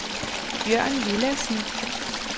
Bjørn Villadsen